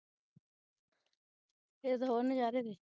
ਇਹਦੇ ਤੇ ਹੋਰ ਨਜ਼ਾਰੇ ਨੇ